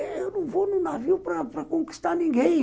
Eu não vou no navio para para conquistar ninguém.